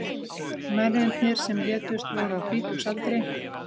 Mennirnir sem létust voru á þrítugsaldri